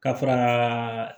Ka fara